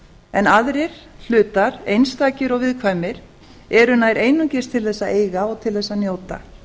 en aðrir hlutar einstakir og viðkvæmir eru nær einungis til þess að eiga og til þess að njóta